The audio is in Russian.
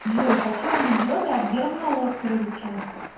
джой хочу анекдоты от германа оскоровича